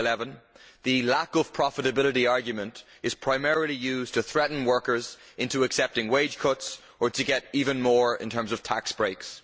2011. The lack of profitability' argument is primarily used to threaten workers into accepting wage cuts or to obtain even more in terms of tax breaks.